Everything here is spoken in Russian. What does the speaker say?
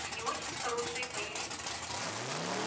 они очень хорошие боевики